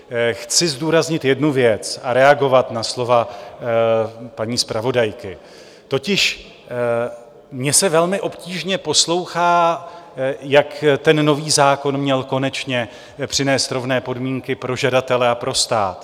Chci zdůraznit jednu věc a reagovat na slova paní zpravodajky, totiž mně se velmi obtížně poslouchá, jak ten nový zákon měl konečně přinést rovné podmínky pro žadatele a pro stát.